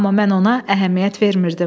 Amma mən ona əhəmiyyət vermirdim.